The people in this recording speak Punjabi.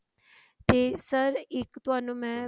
ਤੇ sir ਇੱਕ ਤੁਹਾਨੂੰ ਮੈਂ